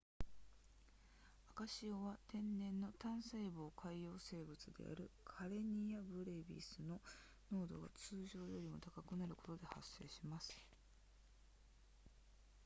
赤潮は天然の単細胞海洋生物であるカレニアブレビスの濃度が通常よりも高くなることで発生します